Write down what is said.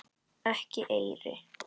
Ekki eyri.